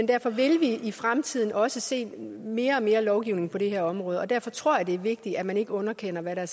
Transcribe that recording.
derfor vil vi i fremtiden også se mere og mere lovgivning på det her område og derfor tror jeg det er vigtigt at man ikke underkender hvad der